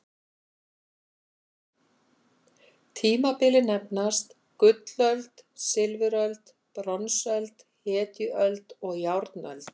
Tímabilin nefnast: gullöld, silfuröld, bronsöld, hetjuöld og járnöld.